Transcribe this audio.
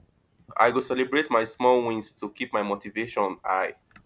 i go celebrate my small wins to keep my motivation high